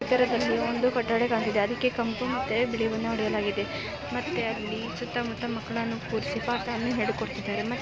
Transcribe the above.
ಇದರದಲ್ಲಿ ಒಂದು ಕೊಠಡಿ ಕಾಣ್ತಾ ಇದೆ ಅದಕ್ಕೆ ಕೆಂಪು ಮತ್ತು ಬಿಳಿ ಬಣ್ಣ ಹೊಡೆಯಲಾಗಿದೆ ಮತ್ತೆ ಅಲ್ಲಿ ಸುತ್ತಮುತ್ತ ಮಕ್ಕಳನ್ನು ಕೂರಿಸಿ ಪಾಠವನ್ನು ಹೇಳಿಕೊಡುತ್ತಿದ್ದಾರೆ ಮತ್ತು --